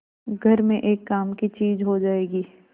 घर में एक काम की चीज हो जाएगी